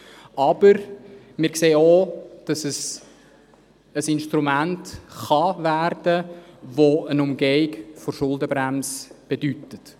Aber wir sehen auch, dass es zu einem Instrument werden kann, das eine Umgehung der Schuldenbremse bedeutet.